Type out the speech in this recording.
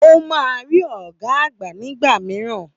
Ó máa rí ọ̀gá àgbà nígbà mìíràn